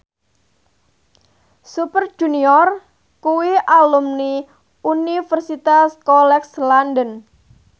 Super Junior kuwi alumni Universitas College London